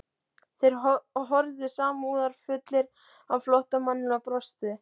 Þeir horfðu samúðarfullir á flóttamanninn og brostu.